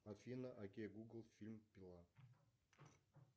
афина окей гугл фильм пила